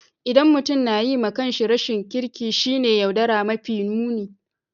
ldan mutum na yi ma kan shi rashin kirki shine yaudara mafi nuni.